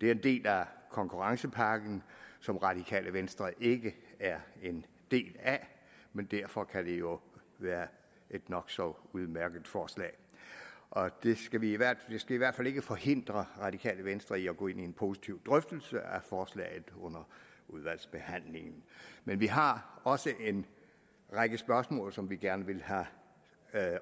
det er en del af konkurrencepakken som radikale venstre ikke er en del af men derfor kan det jo være et nok så udmærket forslag og det skal i hvert fald ikke forhindre radikale venstre i at gå ind i en positiv drøftelse af forslaget under udvalgsbehandlingen men vi har også en række spørgsmål som vi gerne vil have